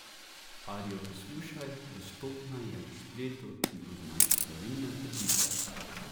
Arijo poslušaj, dostopna je na spletu, in označi pravilne trditve.